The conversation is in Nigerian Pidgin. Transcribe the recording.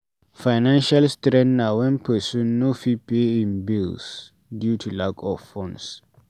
Financial strain na wen person no fit pay im bills due to lack of funds